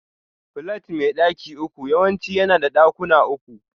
Flat mai daki uku yawanci yana da ɗakuna uku.